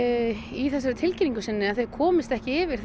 í þessari tilkynningu sinni að þau komist ekki yfir